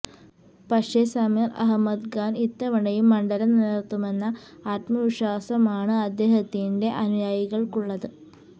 പക്ഷേ സമീര് അഹമ്മദ് ഖാന് ഇത്തവണയും മണ്ഡലം നിലനിര്ത്തുമെന്ന ആത്മവിശ്വാസമാണ് അദ്ദേഹത്തിന്റെ അനുയായികള്ക്കുള്ളത്